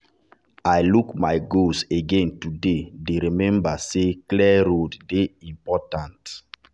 i look my goals again today dey remember say clear road dey important. important.